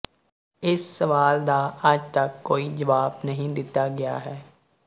ਇਸ ਸਵਾਲ ਦਾ ਅੱਜ ਤਕ ਕੋਈ ਜਵਾਬ ਨਹੀਂ ਦਿੱਤਾ ਗਿਆ ਹੈ